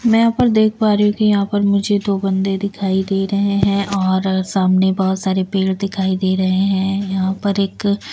मैं यहां पर देख पा रही हूं कि यहां पर मुझे दो बंदे दिखाई दे रहे हैं और सामने बहुत सारे पेड़ दिखाई दे रहे हैं यहां पर एक--